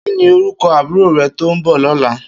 Kini órúkò àbúró rè tó n bò lòlá?